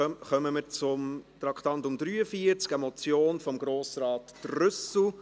Damit kommen wir zum Traktandum 43, einer Motion von Grossrat Trüssel.